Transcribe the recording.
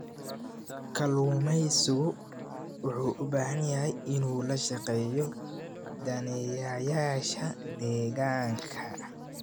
Kalluumeysigu wuxuu u baahan yahay inuu la shaqeeyo daneeyayaasha deegaanka.